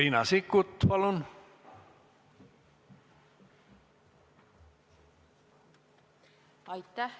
Riina Sikkut, palun!